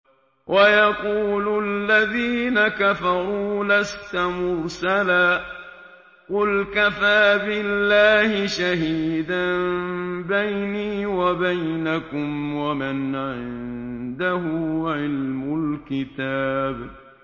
وَيَقُولُ الَّذِينَ كَفَرُوا لَسْتَ مُرْسَلًا ۚ قُلْ كَفَىٰ بِاللَّهِ شَهِيدًا بَيْنِي وَبَيْنَكُمْ وَمَنْ عِندَهُ عِلْمُ الْكِتَابِ